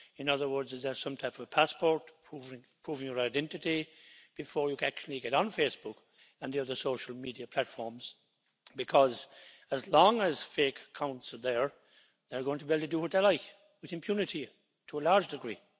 In other words, is there some type of passport, proving your identity before you actually get on Facebook and the other social media platforms, because as long as fake accounts are there, they're going to be able to do what they like with impunity, to a large degree.